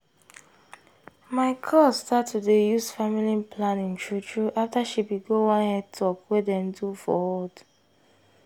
my cuz start to dey use family planning true true afta she bin go one health talk wey dem do for hood.